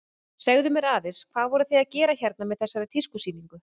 Segðu mér aðeins, hvað voruð þið að gera hérna með þessari tískusýningu?